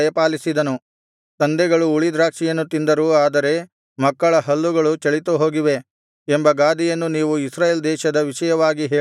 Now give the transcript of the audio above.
ತಂದೆಗಳು ಹುಳಿ ದ್ರಾಕ್ಷಿಯನ್ನು ತಿಂದರು ಆದರೆ ಮಕ್ಕಳ ಹಲ್ಲುಗಳು ಚಳಿತುಹೋಗಿವೆ ಎಂಬ ಗಾದೆಯನ್ನು ನೀವು ಇಸ್ರಾಯೇಲ್ ದೇಶದ ವಿಷಯವಾಗಿ ಹೇಳುವುದೇಕೆ